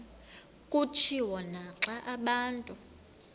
kutshiwo naxa abantu